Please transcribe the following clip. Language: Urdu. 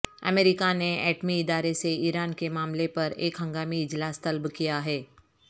امریکہ نے ایٹمی ادارے سے ایران کے معاملے پر ایک ہنگامی اجلاس طلب کیا ہے